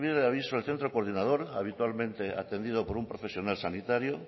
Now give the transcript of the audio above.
recibir el aviso del centro coordinador habitualmente atendido por un profesional sanitario